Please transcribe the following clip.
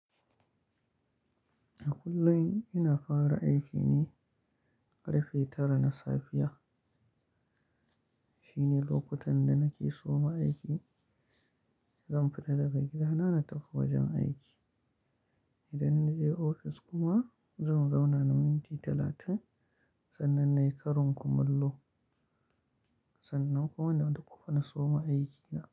A kullum ina fara aiki ne ƙarfe tara na safiya. Shine lokutan da nake soma aiki, zan fita daga gidana na tafi wajen aiki. Idan na je ofis kuma zan zauna na minti talatin sannan na yi karin kumallo, sannan kuma na dukkufa na soma aikina.